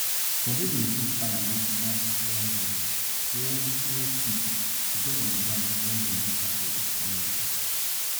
some pipo dey take fire make hoe iron head wey wey thick depend on di ground wen dey differ for each community